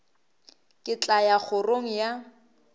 ke tla ya kgorong ya